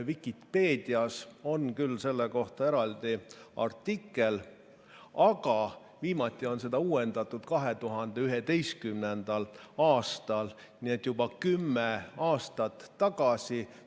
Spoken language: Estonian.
Vikipeedias on küll selle kohta eraldi artikkel, aga viimati on seda uuendatud 2011. aastal, nii et juba kümme aastat tagasi.